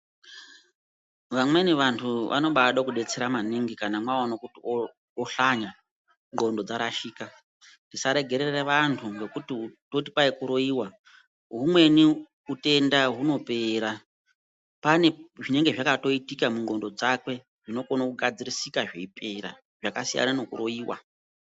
Vamweni vantu vanobade kubetsera maningi kana mwaona kuti oshanya ndxondo dzarashika. Tisaregerere vantu ngekuti toti kwai kuroiva humweni hutenda hunopera. Pane zvinenge zvakatoitika mundxondo dzakwe zvinokona kugadzirisika zveipera zvakasiyana nekuroiva.